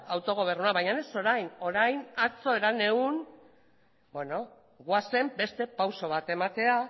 autogobernua baina ez orain orain atzo herenegun goazen beste pauso bat ematera